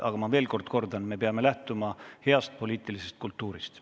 Aga ma veel kord kordan: me peame lähtuma heast poliitilisest kultuurist.